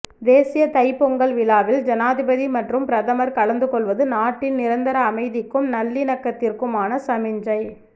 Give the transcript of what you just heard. தேசிய தைப்பொங்கல் விழாவில் ஜனாதிபதி மற்றும் பிரதமர் கலந்துகொள்வது நாட்டின் நிரந்தர அமைதிக்கும் நல்லிணக்கத்திற்குமான சமிஞ்சை